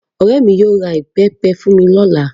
Ọrẹ mí yóò ra ìbẹ́pẹ fún mí ní ọ̀la